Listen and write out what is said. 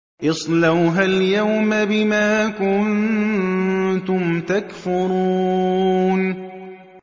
اصْلَوْهَا الْيَوْمَ بِمَا كُنتُمْ تَكْفُرُونَ